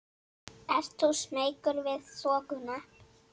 Ert þú smeykur við þokuna?